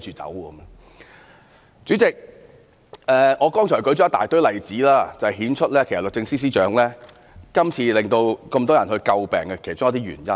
"代理主席，我剛才舉出很多例子，顯示律政司司長這次為人詬病的一些原因。